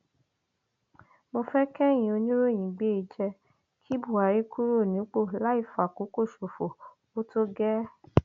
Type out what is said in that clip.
mo fẹ kẹyìn oníròyìn gbé e e jẹ kí buhari kúrò nípò láì fàkókò ṣòfò ó tó gẹẹ